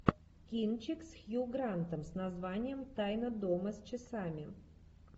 кинчик с хью грантом с названием тайна дома с часами